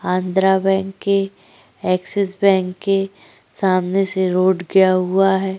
Andhra bank के Axis bank के सामने से रोड गया हुआ है।